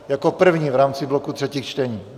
Jako první v rámci bloku třetích čtení.